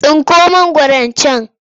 Tsinko mangwaron can!